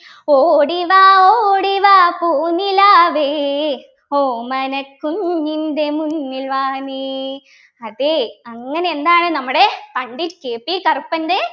ഓടിവാ ഓടിവാ പൂനിലാവേ ഓമനക്കുഞ്ഞിൻ്റെ മുന്നിൽ വാ നീ അതെ അങ്ങനെ എന്താണ് നമ്മുടെ പണ്ഡിറ്റ് KP കറുപ്പൻ്റെ